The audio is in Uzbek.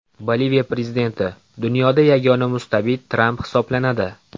Boliviya prezidenti: Dunyoda yagona mustabid Tramp hisoblanadi.